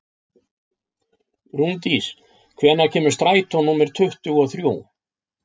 Rúndís, hvenær kemur strætó númer tuttugu og þrjú?